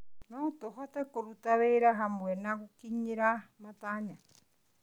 No tũhote kũruta wĩra hamwe na gũkinyĩra matanya.